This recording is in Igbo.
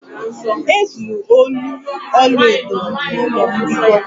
E zuru olu ọlaedo m n'ụlọ mbikọ